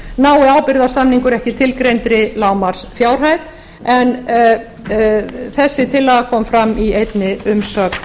nái ábyrgðarsamningur ekki tilgreindri lágmarksfjárhæð en þessi tillaga kom fram í einni umsögn sem